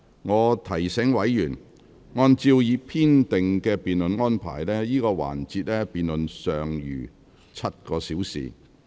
我提醒委員，按照已編定的辯論安排，這個環節的辯論尚餘7個小時便結束。